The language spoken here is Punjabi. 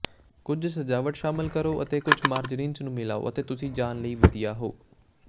ਕੁਝ ਸਜਾਵਟ ਸ਼ਾਮਲ ਕਰੋ ਅਤੇ ਕੁਝ ਮਾਰਜਰੀਨਸ ਨੂੰ ਮਿਲਾਓ ਅਤੇ ਤੁਸੀਂ ਜਾਣ ਲਈ ਵਧੀਆ ਹੋ